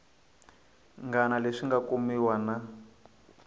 ngana leswi nga kumiwa na